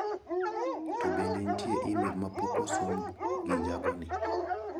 To bende nitie imel ma pok osom gi jago ni?